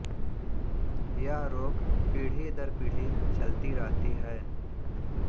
यह रोग पीढ़ी दर पीढ़ी चलती रहती है